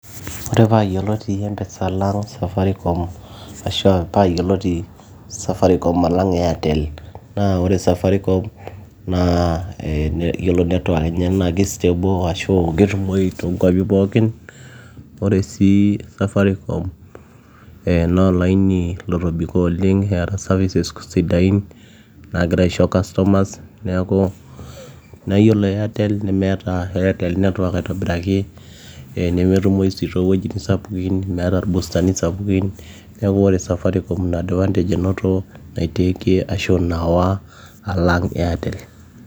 Yiolo paayioloti empesa alang Safaricom ashua paayioloti Safaricom alang Airtel naa ore Safaricom naa Yiolo network enye naa kei stable ashuu ketumoyu toonkuapi pookin ore sii Safaricom eh naa olaini otobiko oleng eeta services sidain naagira aisho customers neeku ,naa iyiolo Airtel nemeeta Airtel network aitobiraki ee nemetumoyu sii toowuejitin kumok metaa irbustani sapukin neeku ore Safaricom ina advantage enoto naitakie ashu nawa Alang Airtel.